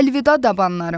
Əlvida dabalarım.